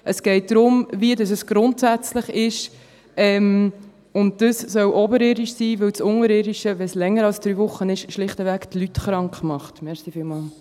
Es geht darum, wie es grundsätzlich ist, und das soll oberirdisch sein, weil das Unterirdische die Leute schlichtweg krankmacht, wenn es länger als drei Wochen dauert.